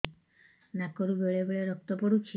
ନାକରୁ ବେଳେ ବେଳେ ରକ୍ତ ପଡୁଛି